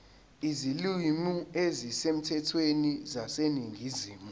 izilimi ezisemthethweni zaseningizimu